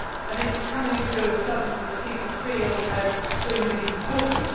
I think this is coming through as something which people feel is extremely important.